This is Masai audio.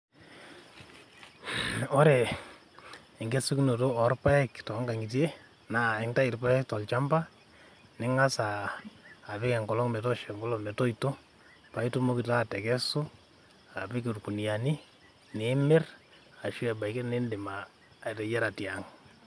ore enkesunoto oorpaek toonkang'itie naa intau irpaek tolchamba ning'asa apik enkolo'ng metoosho enkolong metoito paa itumoki taa atekesu aapik ilkuniani nimirr arashu niidim ateyiara te ang.